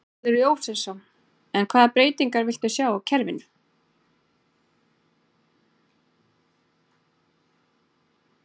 Þórhallur Jósefsson: En hvaða breytingar viltu sjá á kerfinu?